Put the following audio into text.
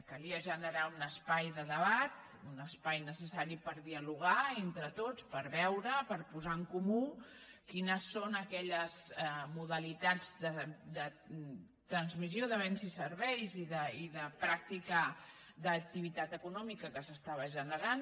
calia generar un espai de debat un espai necessari per dialogar entre tots per veure per posar en comú quines són aquelles modalitats de transmissió de béns i serveis i de pràctica d’activitat econòmica que s’estava generant